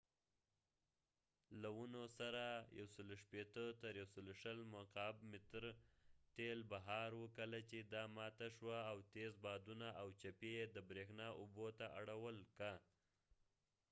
لونو سره ۱۲۰–۱۶۰ مکعب متره تیل بهار وو کله چې دا ماته شوه او تيز بادونه او چپي یې د بریښنا اوبو ته اړول که